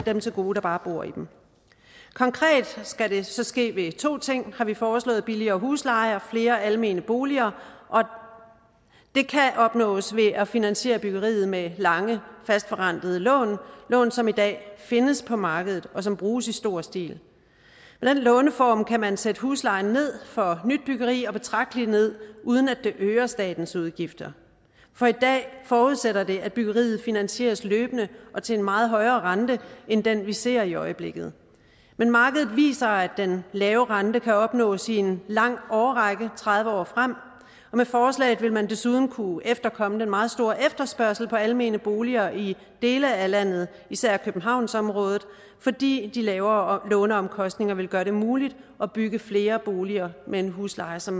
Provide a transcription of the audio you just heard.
dem til gode der bare bor i dem konkret skal det så ske ved to ting har vi foreslået billigere husleje og flere almene boliger det kan opnås ved at finansiere byggeriet med lange fastforrentede lån lån som i dag findes på markedet og som bruges i stor stil med den låneform kan man sætte huslejen ned for nybyggeri betragteligt ned uden at det øger statens udgifter for i dag forudsætter det at byggeriet finansieres løbende og til en meget højere rente end den vi ser i øjeblikket men markedet viser at den lave rente kan opnås i en lang årrække tredive år frem og med forslaget vil man desuden kunne efterkomme den meget store efterspørgsel på almene boliger i dele af landet især i københavnsområdet fordi de lavere låneomkostninger vil gøre det muligt at bygge flere boliger med en husleje som